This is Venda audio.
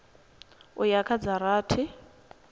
u ya kha dza rathi